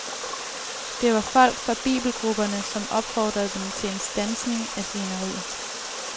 Det var folk fra bibelgrupperne, som opfordrede dem til en standsning af svineriet.